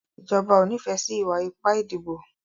Ìjọba o n'ifẹ sí iwa-ipa ìdìbò.